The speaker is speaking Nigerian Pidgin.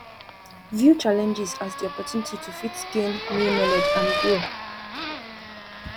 view challenges as di opportunity to fit gain new knowledge and grow